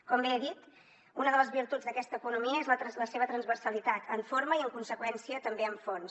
com bé he dit una de les virtuts d’aquesta economia és la seva transversalitat en forma i en conseqüència també en fons